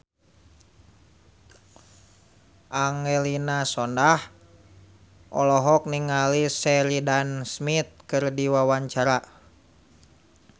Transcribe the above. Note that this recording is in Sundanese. Angelina Sondakh olohok ningali Sheridan Smith keur diwawancara